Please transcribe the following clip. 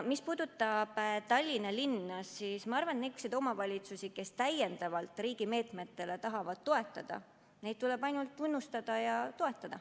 Mis puudutab Tallinna linna, siis ma arvan, et neid omavalitsusi, kes täiendavalt riigi meetmetele tahavad inimesi toetada, tuleb ainult tunnustada ja toetada.